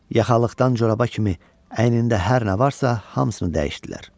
Yaxalıqdan coraba kimi əynində hər nə varsa, hamısını dəyişdilər.